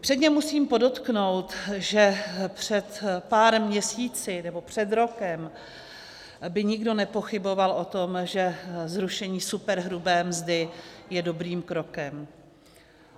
Předně musím podotknout, že před pár měsíci, nebo před rokem, by nikdo nepochyboval o tom, že zrušení superhrubé mzdy je dobrým krokem.